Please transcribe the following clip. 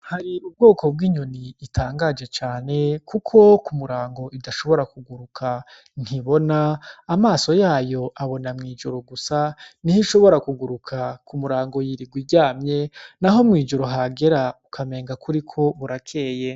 Hari ubwoko bw'inyoni itangaje cane kuko ku murango idashobora kuguruka. Ntibona; amaso yayo abona mw'ijoro gusa. Ni ho ishobora kuguruka, ku murango yirirwa iryamye. Naho mw'ijoro hagera ukamenga kuri ko burakeye.